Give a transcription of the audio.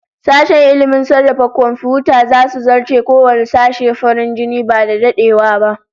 Sashen ilmin sarrafa komfiyuta zasu zarce kowanne sashe farin jini ba da dadewa ba